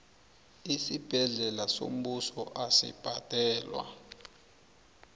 isibhedlela sombuso asibhadalwa